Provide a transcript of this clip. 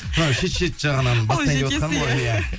мынау шет шет жағынан